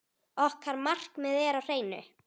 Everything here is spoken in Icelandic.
Okkar markmið er á hreinu.